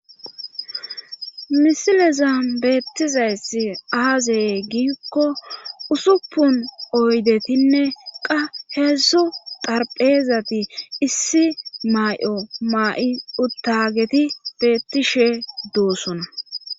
Misileza beettizaysi aazey giikko usuppun oydetinne qa heedzzu tarpheezati issi may7o ma7i uttageti beettishe duwossona.